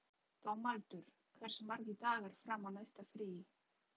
Dómaldur, hversu margir dagar fram að næsta fríi?